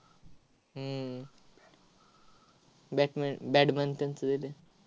हम्म batman badminton चं दिलंय.